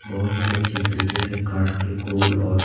बहुत ही अच्छी तरीके से काट के गोल और--